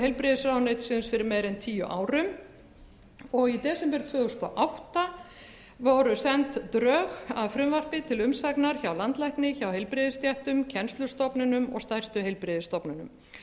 heilbrigðisráðuneytisins fyrir meira en tíu árum og í desember tvö þúsund og átta voru send drög að frumvarpi til umsagnar hjá landlækni hjá heilbrigðisstéttum kennslustofnunum og stærstu heilbrigðisstofnunum